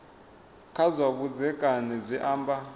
kha zwa vhudzekani zwi amba